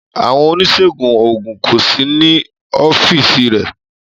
Àwọn oníṣègùn òògùn kò sí ní ọ́fíìsì rẹ̀.